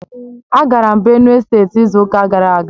Agara m Benue steeti izu ụka gara aga